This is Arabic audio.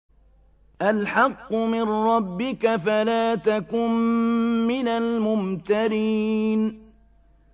الْحَقُّ مِن رَّبِّكَ فَلَا تَكُن مِّنَ الْمُمْتَرِينَ